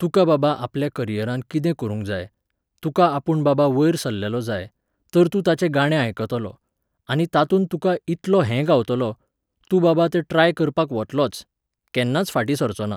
तुका बाबा आपल्या करियरांत कितें करूंक जाय, तुका आपूण बाबा वयर सरलेलो जाय, तर तूं ताचें गाणें आयकतलो, आनी तातूंत तुका इतलो हें गावतलो, तूं बाबा तें ट्राय करपाक वतलोच, केन्नाच फाटी सरचो ना.